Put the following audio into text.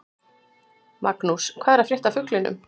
Magnús: Hvað er að frétta af fuglinum?